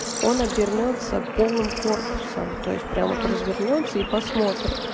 он обернётся полым корпусом то есть прям вот развернётся и посмотрит